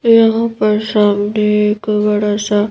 यहाँ पर सामने एक बड़ा सा--